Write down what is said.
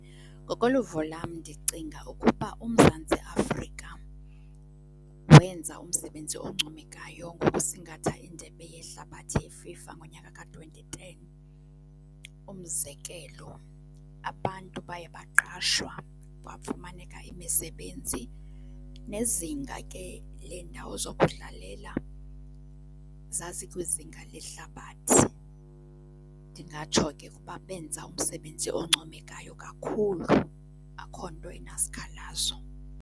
Ngokoluvo lam ndicinga ukuba uMzantsi Afrika wenza umsebenzi oncomekayo ngokusingatha iNdebe yeHlabathi ye-FIFA ngonyaka ka-twenty ten. Umzekelo, abantu baye baqashwa, bafumaneka imisebenzi, nezinga ke leendawo zokudlalela, zazikwizinga lehlabathi. Ndingatsho ke Ukuba benza umsebenzi oncomekayo kakhulu. Akho nto inasikhalazo.